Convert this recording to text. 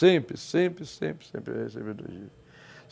Sempre, sempre, sempre, sempre eu recebo elogios.